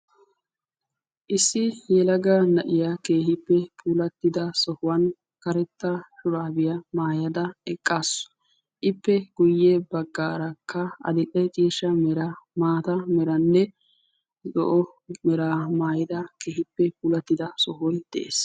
Issi yelaga na'iyaa keehippe puulattida sohuwaan karetta shuraabiyaa maayada eqqaasu. ippe guye baggaarakka adile ciishsha mera maata meranne zo'o meraa maayida keehippe puulattida sohoy de'ees.